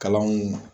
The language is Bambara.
Kalanw